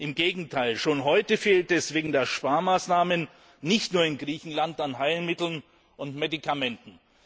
Im Gegenteil, schon heute fehlt es wegen der Sparmaßnahmen nicht nur in Griechenland an Heilmitteln und Medikamenten.